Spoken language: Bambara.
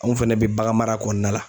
Anw fɛnɛ be baganmara kɔɔna la.